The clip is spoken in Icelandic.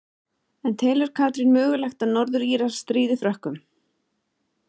En telur Katrín mögulegt að Norður Írar stríði Frökkum?